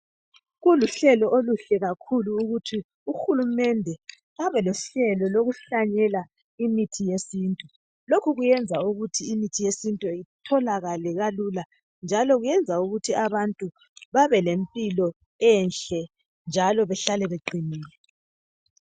Kuluhlelo oluhle kakhulu ukuthi uhulumende abe lohlelo lokuhlanyela imithi yesintu. Lokhu kuyenza ukuthi imithi yesintu itholakale kalula njalo kuyenza ukuthi abantu babelempilo enhle njalo behlale beqinile.